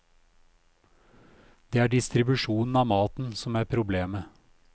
Det er distribusjonen av maten som er problemet.